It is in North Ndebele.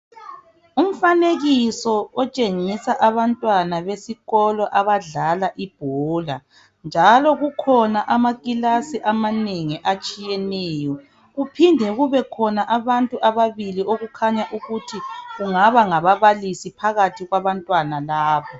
Umfanekiso otshengisa abantwana besikolo abadlala ibhola njalo kukhona amakilasi amanengi atshiyeneyo kuphinde kube khona abantu ababili okukhanya ukuthi kungaba ngababalisi phakathi kwabantwana labo.